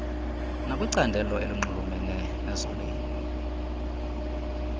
nekwicandelo elinxulumene nezolimo